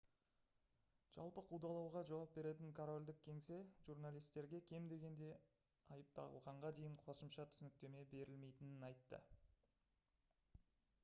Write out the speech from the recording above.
жалпы қудалауға жауап беретін корольдік кеңсе журналистерге кем дегенде айып тағылғанға дейін қосымша түсініктеме берілмейтінін айтты